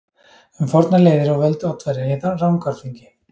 Um fornar leiðir og völd Oddaverja í Rangárþingi.